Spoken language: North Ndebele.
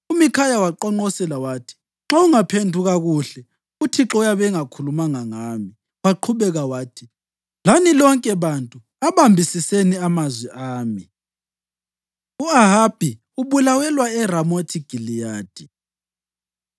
UMikhaya waqonqosela wathi: “Nxa ungaphenduka kuhle, uThixo uyabe engakhulumanga ngami.” Waqhubeka wathi, “Lani lonke bantu abambisiseni amazwi ami!” U-Ahabi Ubulawelwa ERamothi Giliyadi